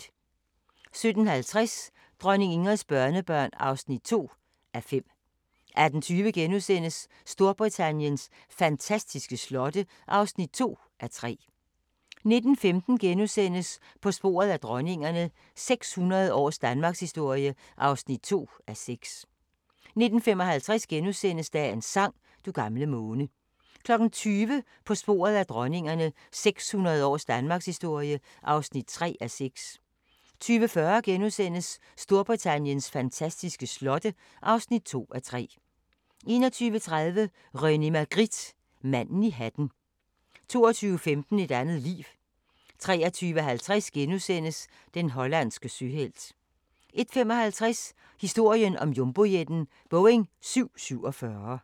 17:50: Dronning Ingrids børnebørn (2:5) 18:20: Storbritanniens fantastiske slotte (2:3)* 19:15: På sporet af dronningerne – 600 års danmarkshistorie (2:6)* 19:55: Dagens sang: Du gamle måne * 20:00: På sporet af dronningerne – 600 års danmarkshistorie (3:6) 20:40: Storbritanniens fantastiske slotte (2:3)* 21:30: René Magritte – manden i hatten 22:15: Et andet liv 23:50: Den hollandske søhelt * 01:55: Historien om jumbojetten – Boeing 747